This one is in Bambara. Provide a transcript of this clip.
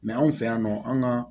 anw fɛ yan nɔ an ka